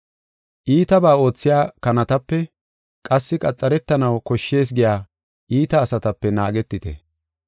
Iitabaa oothiya kanatape, qassi qaxaretanaw koshshees giya iita asatape naagetite.